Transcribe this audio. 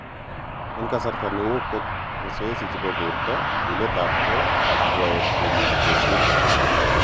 En kssarta neo kot masoesi chepo porto, chuletap ke, ag rwaet kimuche kesir.